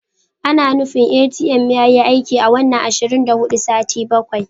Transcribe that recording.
Ana nufin ATM yayi aiki awanni ashirin da hudu sati bakwai.